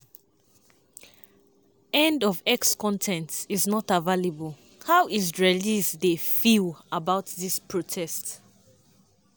end of x post con ten t is not available how israelis dey feel about di protests?